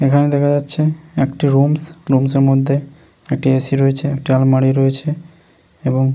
এইখানে দেখা যাচ্ছে একটি রুমস । রুমসের মধ্যে একটি এ সি রয়েছে একটি আলমারি রয়েছে এবং--